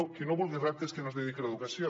qui no vulgui reptes que no es dediqui a l’educació